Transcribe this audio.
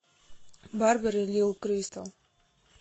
барбери лил кристал